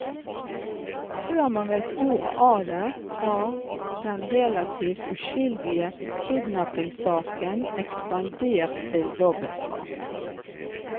Før man vet ordet av det har den relativt uskyldige kidnappingssaken ekspandert til dobbeltdrap.